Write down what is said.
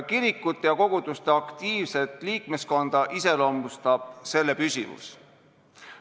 Kirikute ja koguduste aktiivset liikmeskonda iseloomustab selle püsivus.